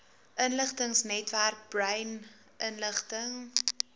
inligtingsnetwerk brain inligting